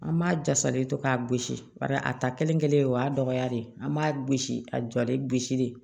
An b'a jasalen to k'a gosi bari a ta kelen kelen o y'a dɔgɔya de an b'a gosi a jɔli gosili de